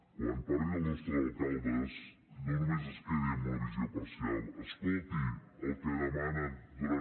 quan parli dels nostres alcaldes no només es quedi amb una visió parcial escolti el que demanen durant